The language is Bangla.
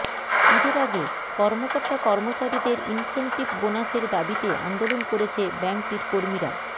ঈদের আগে কর্মকর্তা কর্মচারীদের ইনসেনটিভ বোনাসের দাবিতে আন্দোলন করেছে ব্যাংকটির কর্মীরা